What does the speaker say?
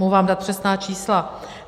Mohu vám dát přesná čísla.